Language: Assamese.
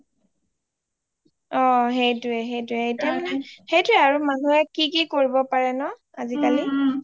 অ সেইটোয়ে সেইটোয়ে এতিয়া মানে সেইটো এ আৰু মানুহে কি কি কৰিব পাৰে ন আজিকালি